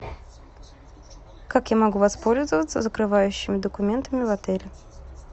как я могу воспользоваться закрывающими документами в отеле